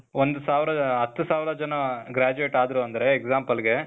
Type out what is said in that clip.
ಒಂದು ಸಾವ್ರ, ಹತ್ತು ಸಾವ್ರ ಜನ graduate ಆದ್ರು ಅಂದ್ರೆ example ಗೆ